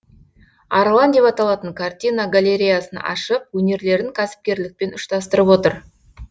арлан деп аталатын картина галереясын ашып өнерлерін кәсіпкерлікпен ұштастырып отыр